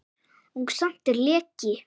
Og samt er leki.